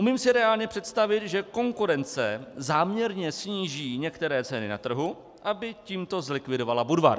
Umím si reálně představit, že konkurence záměrně sníží některé ceny na trhu, aby tímto zlikvidovala Budvar.